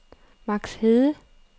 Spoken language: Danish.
Max Hede